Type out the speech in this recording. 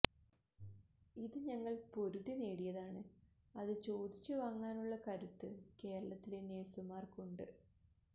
ഇത് ഞങ്ങൾ പൊരുതി നേടിയതാണ് അത് ചോദിച്ച് വാങ്ങാനുള്ള കരുത്ത് കേരളത്തിലെ നഴ്സുമാർക്കുണ്ട്